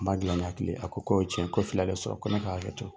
An b'a dilan ni hakili ye. A ko k'o ye tiɲɛ ye, ko fili y'ale sɔrɔ, ko ne ka hakɛto.